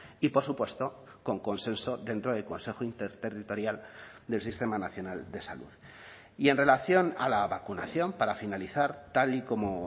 y por supuesto con consenso dentro del consejo interterritorial del sistema nacional de salud y en relación a la vacunación para finalizar tal y como